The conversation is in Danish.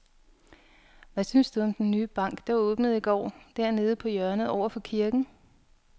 Hvad synes du om den nye bank, der åbnede i går dernede på hjørnet over for kirken?